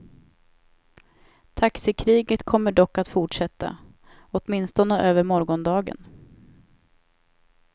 Taxikriget kommer dock att fortsätta, åtminstone över morgondagen.